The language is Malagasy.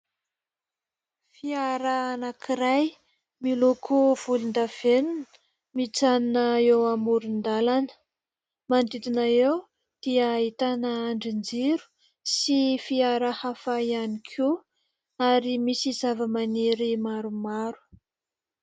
Fiara anankiray miloko volondavenona mijanona eo amoron-dalana. Manodidina eo dia ahitana andrinjiro sy fiara hafa ihany koa ary misy zavamaniry maromaro.